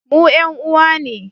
Mu 'yan uwa ne